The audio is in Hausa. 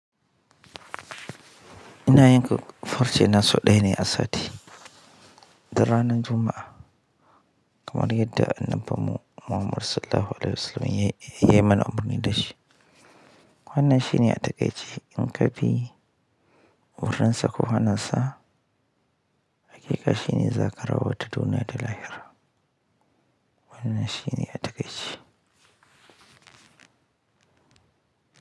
Ina yanke farce na sau dsya ne a sati da ranan Juma'a kamar yadda annabi Muhammad Sallallahu Alaihi Wasallam ya yi mana umarni da shi. Wannan shine a takai ce in ka bi wurinsa ko hana sa, haƙiƙa shine za ka rabauta duniya da lahira. Wannan shine a takai ce.